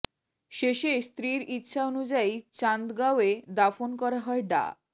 শেষে স্ত্রীর ইচ্ছা অনুযায়ী চান্দগাঁওয়ে দাফন করা হয় ডা